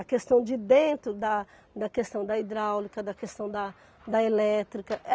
A questão de dentro, da da questão da hidráulica, da questão da elétrica.